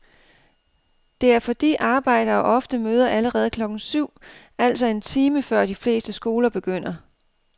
Det er fordi arbejdere ofte møder allerede klokken syv, altså en time før de fleste skoler begynder.